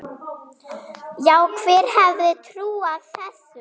Já, hver hefði trúað þessu?